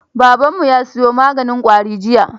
Babanmu ya siyo maganin ƙwari jiya.